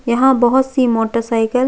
यहाँ बहोत - सी मोटर साइकिल --